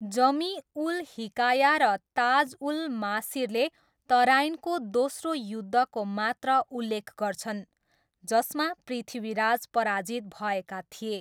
जमी उल हिकाया र ताज उल मासिरले तराइनको दोस्रो युद्धको मात्र उल्लेख गर्छन्, जसमा पृथ्वीराज पराजित भएका थिए।